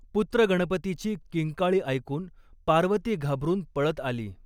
पुत्रगणपतीची किंकाळी ऐकून पार्वती घाबरून पळत आली.